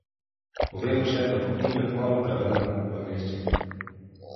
Povejmo še, da bo knjiga kmalu prevedena v angleščino.